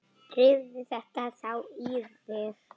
Drífðu þetta þá í þig.